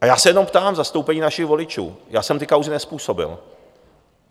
A já se jenom ptám v zastoupení našich voličů, já jsem ty kauzy nezpůsobil.